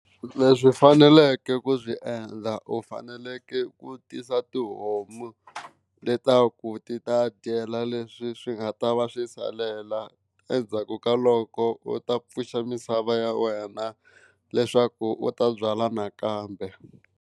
Leswi u faneleke ku swi endla u faneleke ku tisa tihomu leswaku ti ta dyela leswi swi nga ta va swi salela, endzhaku ka loko u ta pfuxa misava ya wena leswaku u ta byala nakambe.